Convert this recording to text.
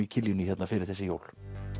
í Kiljunni fyrir þessi jól